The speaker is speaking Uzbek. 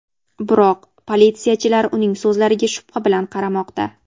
Biroq, politsiyachilar uning so‘zlariga shubha bilan qaramoqda.